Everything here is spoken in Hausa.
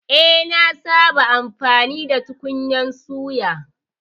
Eh, nasaba amfani da tukunyar suya